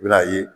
I bɛna ye